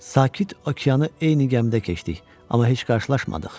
Sakit Okeanı eyni gəmidə keçdik, amma heç qarşılaşmadıq.